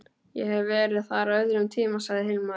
Ég hef verið þar á öðrum tíma, sagði Hilmar.